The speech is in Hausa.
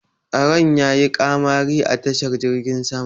Tsaron ya yi ƙamari a tashar jirgin sama